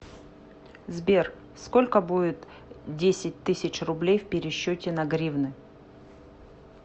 сбер сколько будет десять тысяч рублей в пересчете на гривны